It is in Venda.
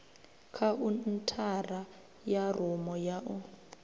khaunthara ya rumu ya u